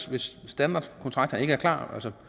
hvis standardkontrakterne ikke er klar så